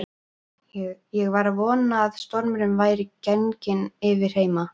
Ég var að vona að stormurinn væri genginn yfir heima.